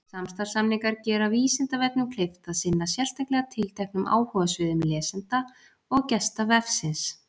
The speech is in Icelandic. samstarfssamningar gera vísindavefnum kleift að sinna sérstaklega tilteknum áhugasviðum lesenda og gesta vefsins